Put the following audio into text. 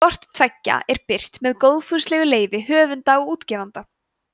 hvort tveggja er birt með góðfúslegu leyfi höfunda og útgefanda